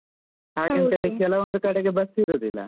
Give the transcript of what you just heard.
ಹಾಗೆಂತ ಹೇಳಿ ಕೆಲವೊಂದು ಕಡೆಗೆ bus ಇರುದಿಲ್ಲ.